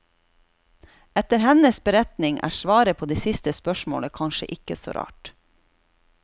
Etter hennes beretning er svaret på det siste spørsmålet kanskje ikke så rart.